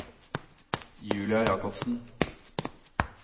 Julia Jakobsen